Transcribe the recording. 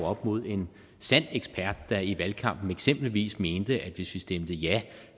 oppe mod en sand ekspert der i valgkampen eksempelvis mente at hvis vi stemte ja